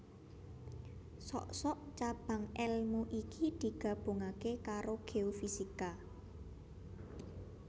Sok sok cabang èlmu iki digabungaké karo géofisika